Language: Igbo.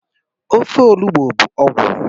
Ofe olubo bụ ọgwụ